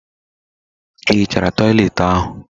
Ị hichara toịletị ahụ?